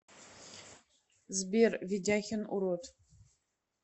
сбер ведяхин урод